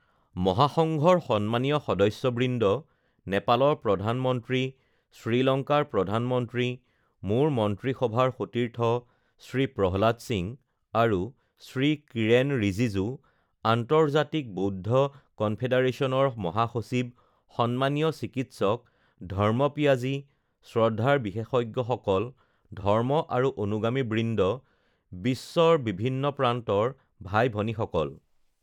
মহাসংঘৰ সন্মানীয় সদস্যবৃন্দ, নেপালৰ প্ৰধানমন্ত্ৰী, শ্ৰীলংকাৰ প্ৰধানমন্ত্ৰী, মোৰ মন্ত্ৰীসভাৰ সতীৰ্থ শ্ৰী প্ৰহ্লাদ সিং আৰু শ্ৰী কিৰেন ৰিজিজু, আন্তৰ্জাতিক বৌদ্ধ কনফেডাৰেশ্যনৰ মহাসচিব সন্মানীয় চিকিৎসক ধৰ্মপিয়াজী, শ্ৰদ্ধাৰ বিশেষজ্ঞসকল, ধৰ্ম আৰু অনুগামীবৃন্দ, বিশ্বৰ বিভিন্ন প্ৰান্তৰ ভাই ভনীসকল,